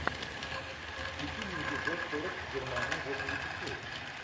включи мне эпизод сорок германия восемьдесят шесть